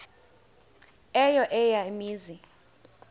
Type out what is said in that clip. eyo eya mizi